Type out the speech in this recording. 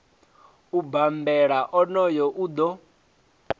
u bambela onoyo o ḓo